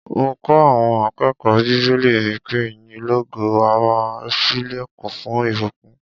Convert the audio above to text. Mo kọ́ àọn akẹ́kọ̀ó bíbélì mi pé ìyìn lógo á máa ṣílẹ̀kùn fún ìbùkún.